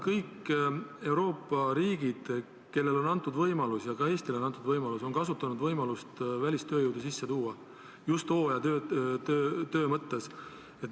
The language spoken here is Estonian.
Kõik Euroopa riigid, kellele on antud võimalus – ja ka Eestile on antud võimalus –, on kasutanud võimalust välistööjõudu sisse tuua, just hooajatöö jaoks.